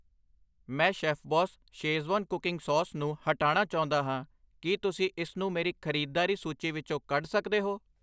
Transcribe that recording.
ਮੈਂ Chef Boss Schezwan cooking sauce ਨੂੰ ਹਟਾਣਾ ਚਾਹੁੰਦਾ ਹਾਂ, ਕੀ ਤੁਸੀਂ ਇਸਨੂੰ ਮੇਰੀ ਖਰੀਦਦਾਰੀ ਸੂਚੀ ਵਿੱਚੋਂ ਕੱਢ ਸਕਦੇ ਹੋ?